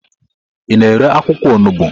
Ị na-ere akwụkwọ olugbo?